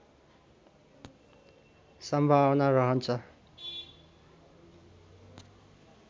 सम्भावना रहन्छ